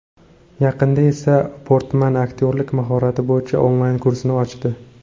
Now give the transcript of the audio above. Yaqinda esa Portman aktyorlik mahorati bo‘yicha onlayn-kursini ochdi.